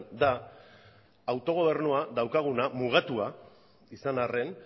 da autogobernua daukaguna mugatua izan arren